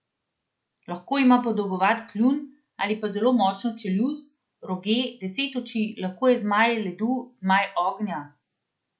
Lahko ima podolgovat kljun ali pa zelo močno čeljust, roge, deset oči, lahko je zmaj ledu, zmaj ognja ...